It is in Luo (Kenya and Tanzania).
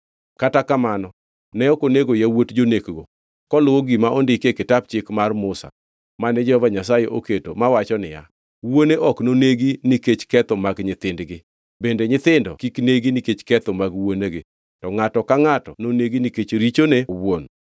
Kata kamano ne ok onego yawuot jonekgo koluwo gima ondikie Kitap Chik mar Musa mane Jehova Nyasaye oketo mawacho niya, “Wuone ok nonegi nikech ketho mag nyithindgi, bende nyithindo kik negi nikech ketho mag wuonegi; to ngʼato ka ngʼato nonegi nikech richone owuon.”